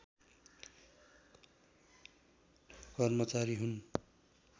कर्मचारी हुन्